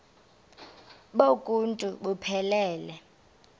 bonk uuntu buphelele